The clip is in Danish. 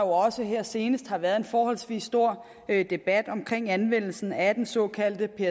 også her senest været en forholdsvis stor debat om anvendelsen af den såkaldte